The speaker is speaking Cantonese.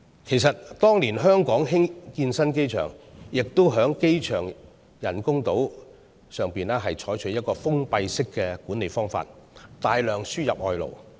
其實，當年香港興建新機場，也在機場人工島上採取封閉式的管理方法，大量輸入外勞。